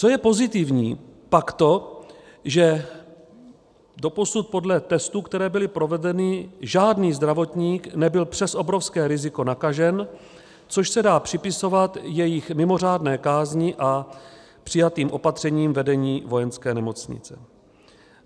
Co je pozitivní, pak to, že doposud podle testů, které byly provedeny, žádný zdravotník nebyl přes obrovské riziko nakažen, což se dá připisovat jejich mimořádné kázni a přijatým opatřením vedení Vojenské nemocnice.